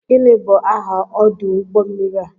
Gịnị bụ aha ọdụ ụgbọ mmiri a?